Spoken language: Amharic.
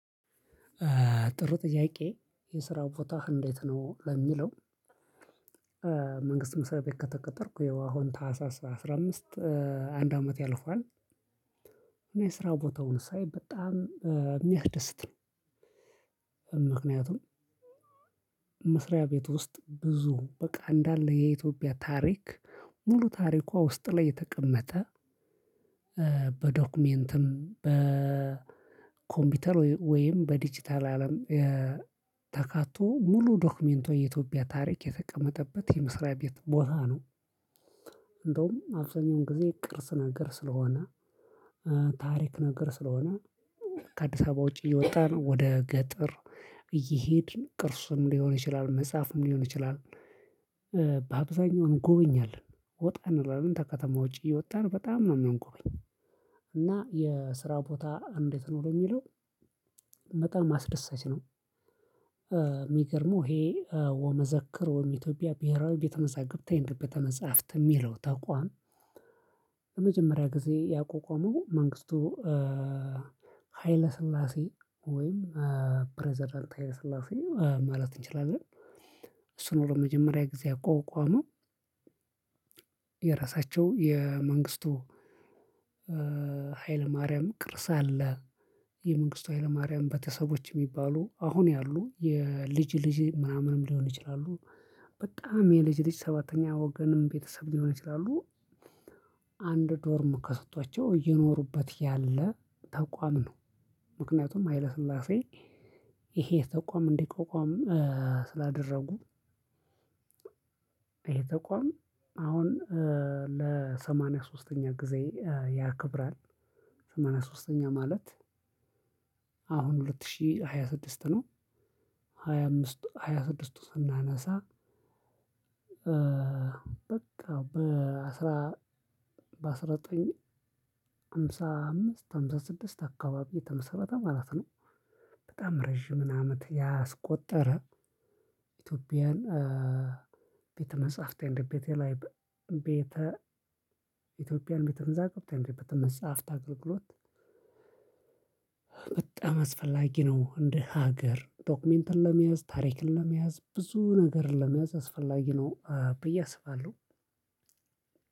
ጥሩ ጥያቄ የስራ ቦታህ እንዴት ነው ለሚለው? መንግስት መስሪያ ቤት ከተቀጠርኩ የው አሁን ታህሳስ አስራ አምስት አንድ አመት ያልፋል እና የስራ ቦታውን ሳይ በጣም የሚያድስት ነው። ምክንያቱም መስሪያ ቤት ውስጥ ብዙ በቃ እንዳለ የኢትዮጵያ ታሪክ ሙሉ ታሪኳ ውስጥ ላይ የተቀመጠ። በዶክመንትም በኮምፒውተር ወይም በዲጂታል አለም ተካቶ ሙሉ ዶክመንት የኢትዮጵያ ታሪክ የተቀመጠበት የመስሪያ ቤት ቦታ ነው። እንደውም አብዛኛውን ጊዜ ቅርስ ነገር ስለሆነ። ታሪክ ነገር ስለሆነ። ከአዲስ አበባ ውጪ እየወጣን ወደ ገጠር እየሄድን ቅርስም ሊሆን ይችላል መጽሐፍም ሊሆን ይችላል። በአብዛኛው እንጎበኛለን ወጣ እንለለን ተከተማ ውጪ እየወጣን በጣም ነው የምንጎበኘው። እና የስራ ቦታ እንዴት ነው የሚለው? በጣም አስደሳች ነው። የሚገርመው ይሄ ወመዘክር ወመ እትዮጵያ ብሄራዊ ቤተመዛግብት አንድ ቤተመጽህፍት የሚለው ተቋም። በመጀመሪያ ጊዜ ያቋቋመው መንግስቱ። ሀይለ ስላሴ ወይም ፕሬዝዳንት ሀይለ ስላሴ ማለት እንችላለን። እሱ ነው ለመጀመሪያ ጊዜ ያቋቋመው። የራሳቸው የመንግስቱ ኃይለማርያም ቅርስ አለ። የመንግስቱ ኃይለማርያም ቤተሰቦች የሚባሉ አሁን ያሉ የልጅ ልጅ ምናምንም ሊሆን ይችላሉ። በጣም የልጅ ልጅ ሰባተኛ ወገንም ቤተሰብ ሊሆን ይችላሉ። አንድ ዶርም ተሰቷቸው እየኖሩበት ያለ ተቋም ነው። ምክንያቱም ሀይለ ስላሴ ይሄ ተቋም እንድቋቋም ስላደረጉ። ይሄ ተቋም አሁን ለሰማንያ ሶስተኛ ጊዜ ያክብራል። ሰማንያ ሶስተኛ ማለት አሁን ሁለት ሺህ ሃያ ስድስት ነው። ሃያ አምስት ሃያ ስድስቱ ስናነሳ። በቃ በአንድ ሺህ ዘጠኝ መቶ ሃምሳ አምስት ሃምሳ ስድስት አካባቢ የተመሰረተ ማለት ነው። በጣም ረጅም አመት ያስቆጠረ ኢትዮጵያን ቤተ መጽሐፍት አንደ ቤተ ላይ ቤተ ኢትዮጵያን ቤተ ቤተመዛግብት በመጽሐፍት አገልግሎት። በጣም አስፈላጊ ነው እንደ ሀገር ዶክመንትን ለመያዝ ታሪክን ለመያዝ ብዙ ነገርን ለመያዝ አስፈላጊ ነው ብዬ አስባለሁ።